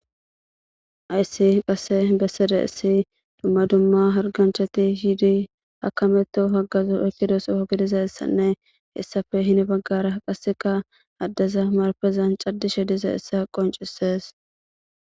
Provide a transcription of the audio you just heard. Hayiss qase besizayissi dumma dumma hariganichchati yidi akameto baga oyikidaso gidizayissanne hessappe heni bagara qasikka adeza maripezanni caadishshe dizayissa qonccisess.